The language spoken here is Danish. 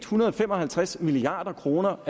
hundrede og fem og halvtreds milliard kroner